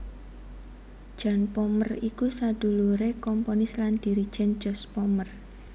Jan Pommer iku saduluré komponis lan dirigèn Jos Pommer